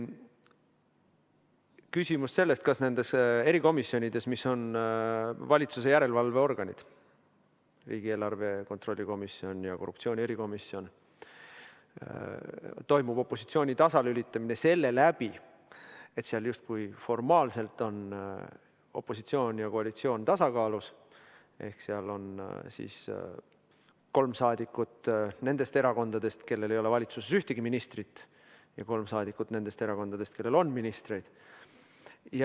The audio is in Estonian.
Küsimus on selles, kas nendes erikomisjonides, mis on valitsuse järelevalveorganid, riigieelarve kontrolli komisjon ja korruptsiooni erikomisjon, toimub opositsiooni tasalülitamine selle läbi, et seal justkui formaalselt on opositsioon ja koalitsioon tasakaalus, ehk seal on kolm saadikut nendest erakondadest, kellel ei ole valitsuses ühtegi ministrit, ja kolm saadikut nendest erakondadest, kellel on ministreid.